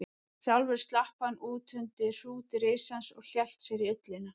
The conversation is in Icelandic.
Sjálfur slapp hann út undir hrút risans og hélt sér í ullina.